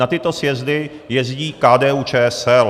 Na tyto sjezdy jezdí KDU-ČSL.